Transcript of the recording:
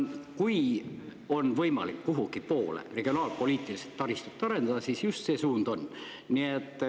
Kui on võimalik kuhugi poole regionaalpoliitiliselt taristut arendada, siis just see suund on.